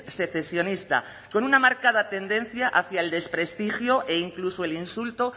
secesionista con una marcada tendencia hacia el desprestigio e incluso el insulto